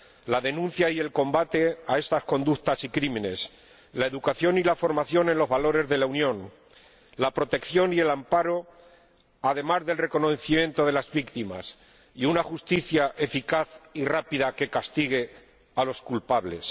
La denuncia y el combate de estas conductas y delitos, la educación y la formación en los valores de la Unión, la protección y el amparo, además del reconocimiento, de las víctimas, y una justicia eficaz y rápida que castigue a los culpables.